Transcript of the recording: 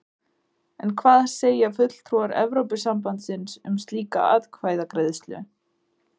En hvað segja fulltrúar Evrópusambandsins um slíka atkvæðagreiðslu?